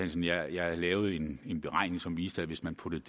jeg lavede en en beregning som viste at hvis man puttede